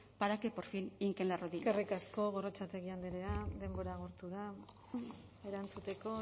para que por fin hinquen la rodilla eskerrik asko gorrotxategi andrea denbora agortu da erantzuteko